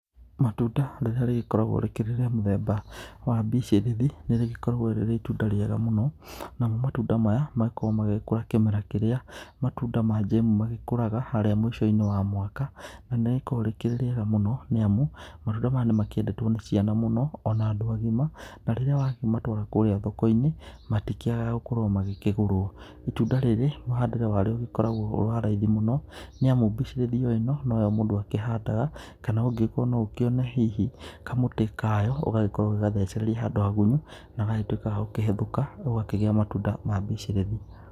Matunda rĩrĩa rĩgĩkoragwo rĩkĩrĩ rĩa mũthemba wa mbicĩrĩri, nĩrĩgĩkoragwo rĩrĩ itunda rĩega mũno, namo matunda maya magĩkoragwo magĩkũra kĩmera kĩrĩa matunda ma njemu magĩkũraga, harĩa mũico-inĩ wa mwaka, nanĩrĩkoragwo rĩkĩrĩ rĩega mũno, nĩamu matunda maya nĩmakĩendetwo nĩ ciana mũno, ona andũ agima, na rĩrĩa wakĩmatwara kũrĩa thoko-inĩ, matikĩagaga gũkorwo magĩkĩgũrwo. Itunda rĩrĩ, mũhandĩre warĩo ũgĩkoragwo wĩwa raithi mũno, nĩamu mbicĩrĩri oĩno noyo mũndũ akĩhandaga, kana ũngĩkorwo noũkĩone hihi kamũtĩ kayo, ũgagĩkorwo ũgĩgathecereria handũ hagunyu, nagagĩtuĩka gagũkĩhĩthũka, ũgakĩgĩa matunda ma mbicĩrĩri.